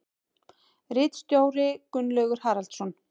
Ritstjóri Gunnlaugur Haraldsson.